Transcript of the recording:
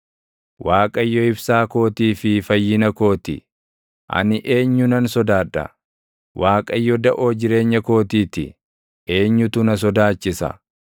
Waaqayyo ibsaa kootii fi fayyina koo ti; ani eenyunan sodaadha? Waaqayyo daʼoo jireenya kootii ti; eenyutu na sodaachisa?